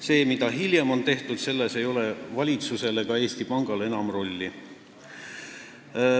Selles, mida hiljem on tehtud, ei ole valitsusel ega Eesti Pangal enam rolli.